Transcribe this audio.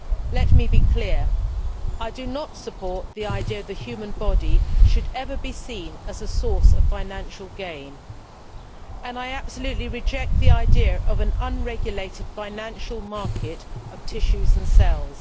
Let me be clear I do not support the idea that the human body should ever be seen as a source of financial gain, and I absolutely reject the idea of an unregulated financial market in tissues and cells.